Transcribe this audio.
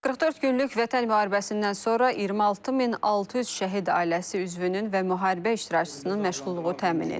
44 günlük Vətən müharibəsindən sonra 26600 şəhid ailəsi üzvünün və müharibə iştirakçısının məşğulluğu təmin edilib.